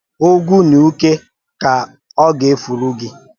Ògwù na ùkè ka ọ gà-èfùrụ̀ gị